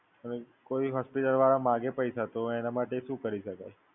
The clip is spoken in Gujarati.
હવે કોઈ હોસ્પિટલ વાળા માંગે પૈસા, તો એના માટે શું કરી શકાય?